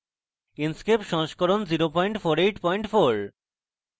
inkscape সংস্করণ 0484